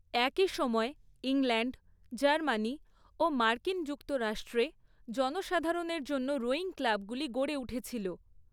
একই সময়ে England, Germany ও মার্কিন যুক্তরাষ্ট্রে জনসাধারণের জন্য রোয়িং ক্লাবগুলি গড়ে উঠেছিল।